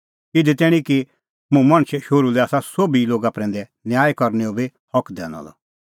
इधी तैणीं कि मुंह मणछे शोहरू लै आसा सोभी लोगा प्रैंदै न्याय करनैओ बी हक दैनअ द